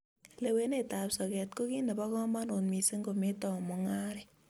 Lewenet ab soket ko kit nebo kamanut mising kometou mung'aret